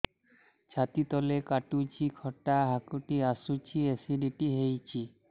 ଛାତି ତଳେ କାଟୁଚି ଖଟା ହାକୁଟି ଆସୁଚି ଏସିଡିଟି ହେଇଚି